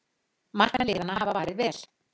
Markmenn liðanna hafa varið vel